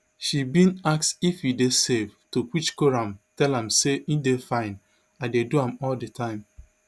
she bin ask if e dey safe to which khorram tell am say e dey fine i dey do am all di time